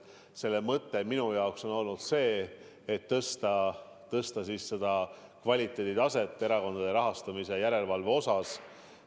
Selle mõte on minu arvates olnud tõsta erakondade rahastamise järelevalve kvaliteeti.